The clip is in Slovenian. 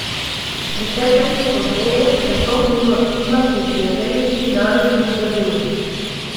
Desetletje pozneje sem to knjigo odkrila pri prijateljici Nadeždi v Berlinu.